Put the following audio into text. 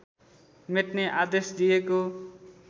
मेट्ने आदेश दिएको